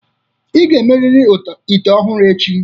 Ị ga-emerịrị ite ọhụrụ echi!